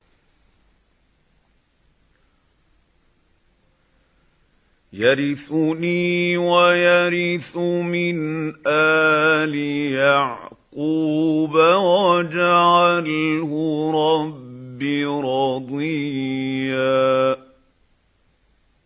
يَرِثُنِي وَيَرِثُ مِنْ آلِ يَعْقُوبَ ۖ وَاجْعَلْهُ رَبِّ رَضِيًّا